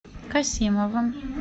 касимовым